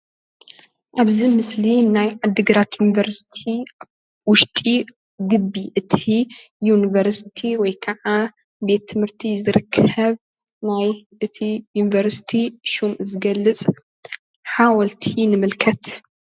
ኣብዚ ምስሊ ናይ ዓዲግራት ዩኒቨርስቲ ውሽጢ ግቢ እቲ ዩንቨርስቲ ወይ ከዓ ቤት ትምህርቲ ዝርከብ ናይ እቲ ዩንቨርስቲ ሹም ዝገልፅ ሓወልቲ ንምልከት።